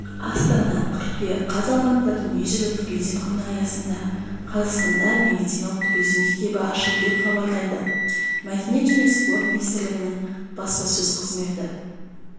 астана қыркүйек қаз алматыда дүниежүзілік туризм күні аясында қазақстанда медициналық туризм мектебі ашылды деп хабарлайды мәдениет және спорт министрлігінің баспасөз қызметі